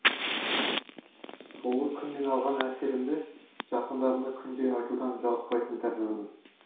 сол бір күннен алған әсерімді жақындарыма күнде айтудан жалықпайтын тәріздімін